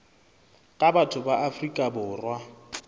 ka batho ba afrika borwa